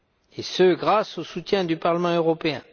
et ce, grâce au soutien du Parlement européen.